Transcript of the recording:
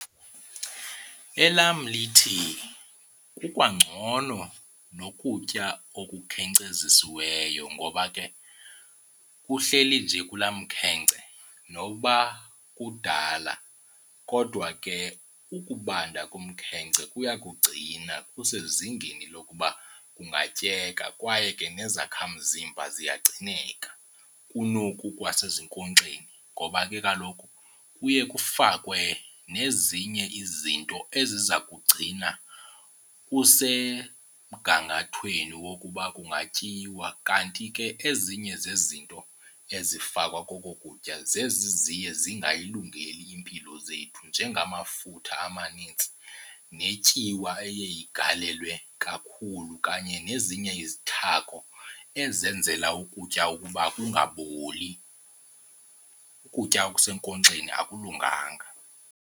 Elam lithi kukwangcono nokutya okukhenkcezisiweyo ngoba ke kuhleli nje kulaa mkhenkce nokuba kudala kodwa ke ukubanda komkhence kuya kugcina kusezingeni lokuba kungatyeka. Kwaye ke nezakhamzimba ziyagcineka kunoku kwasezinkonkxeni ngoba ke kaloku kuye kufakwe nezinye izinto eziza kugcina kusemgangathweni wokuba kungatyiwa. Kanti ke ezinye zezinto ezifakwa koku kutya zezi ziye zingayilungeli iimpilo zethu njengamafutha amanintsi netyiwa eye igalelwe kakhulu kanye nezinye izithako ezenzela ukutya ukuba kungaboli. Ukutya okusenkonxeni akulunganga.